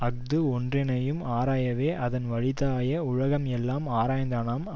அஃது ஒன்றனையும் ஆராயவே அதன் வழித்தாய உலகம் எல்லாம் ஆராய்ந்தானாம்